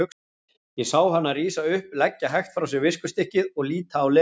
Ég sá hana rísa upp, leggja hægt frá sér viskustykkið og líta á Lenu.